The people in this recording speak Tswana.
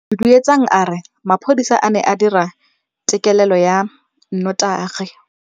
Duduetsang a re mapodisa a ne a dira têkêlêlô ya nnotagi.